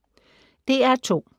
DR2